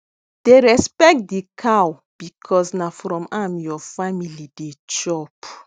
dey respect de cow because na from am your family dey chop